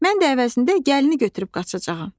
Mən də əvəzində gəlini götürüb qaçacağam.